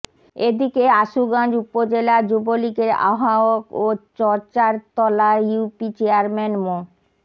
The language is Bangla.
এদিকে আশুগঞ্জ উপজেলা যুবলীগের আহ্বায়ক ও চরচারতলা ইউপি চেয়ারম্যান মো